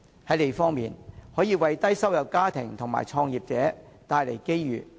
在"利"方面，墟市可為低收入家庭及創業者帶來機遇。